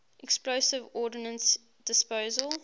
explosive ordnance disposal